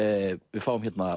við fáum hérna